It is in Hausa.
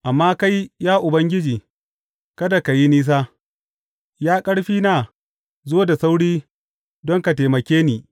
Amma kai, ya Ubangiji, kada ka yi nisa; Ya Ƙarfina zo da sauri don ka taimake ni.